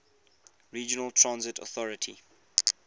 regional transit authority